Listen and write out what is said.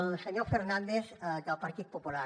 al senyor fernández del partit popular